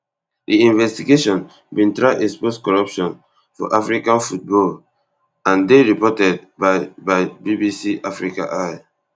di investigation bin try expose corruption for african football and dey reported by by bbc africa eye